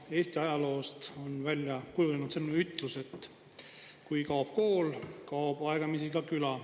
Eesti ajaloost on välja kujunenud selline ütlus, et kui kaob kool, kaob aegamisi ka küla.